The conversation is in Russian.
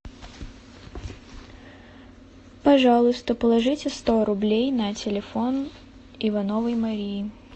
пожалуйста положите сто рублей на телефон ивановой марии